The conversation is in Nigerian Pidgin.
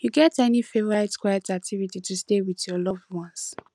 you get any favorite quiet activity to stay with with loved ones